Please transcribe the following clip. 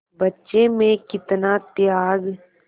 बच्चे में कितना त्याग